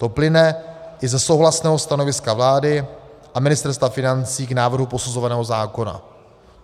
To plyne i ze souhlasného stanoviska vlády a Ministerstva financí k návrhu posuzovaného zákona.